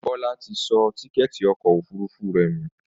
Bọ́lá ti sọ tíkẹ́ẹ́tì ọkọ̀ òfurufú rẹ̀ nù